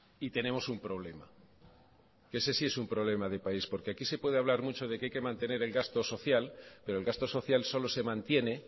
y tenemos un problema que ese sí es un problema de país porque aquí se puede hablar mucho de que hay que mantener el gasto social pero el gasto social solo se mantiene